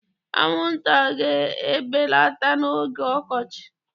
Anwụnta ga-ebelata n'oge ọkọchị.